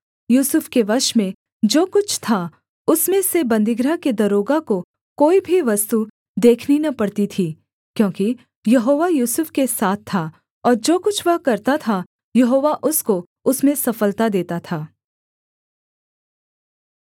यूसुफ के वश में जो कुछ था उसमें से बन्दीगृह के दरोगा को कोई भी वस्तु देखनी न पड़ती थी क्योंकि यहोवा यूसुफ के साथ था और जो कुछ वह करता था यहोवा उसको उसमें सफलता देता था